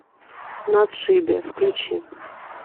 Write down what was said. на отшибе включи